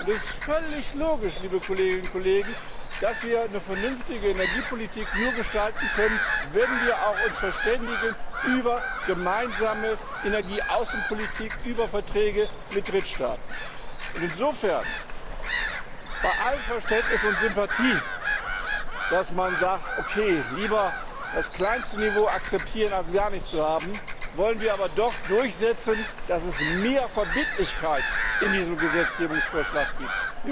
Es ist völlig logisch, liebe Kolleginnen und Kollegen, dass wir eine vernünftige Energiepolitik nur gestalten können, wenn wir uns auch über eine gemeinsame Energieaußenpolitik, über Verträge mit Drittstaaten verständigen. Insofern, bei allem Verständnis und bei aller Sympathie, dass man sagt, okay, lieber das kleinste Niveau akzeptieren als gar nichts zu haben, wollen wir aber doch durchsetzen, dass es mehr Verbindlichkeit in diesem Gesetzgebungsvorschlag gibt.